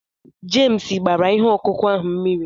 Jemes gbara ihe ọkụkụ ahụ mmiri